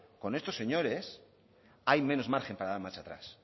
con estos señores hay menos margen para dar marcha atrás